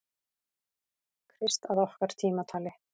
Krist að okkar tímatali.